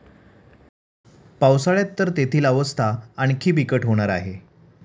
पावसाळ्यात तर तेथील अवस्था आणखी बिकट होणार आहे.